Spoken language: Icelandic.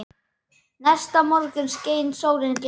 Næsta morgun skein sólin glatt.